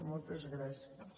moltes gràcies